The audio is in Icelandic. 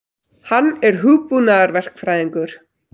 Hann er hugbúnaðarverkfræðingur.